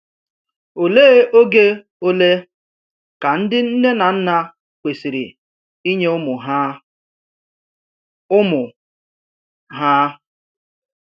Olee oge ole ka ndị nne na nna kwesịrị inye ụmụ ha? ụmụ ha?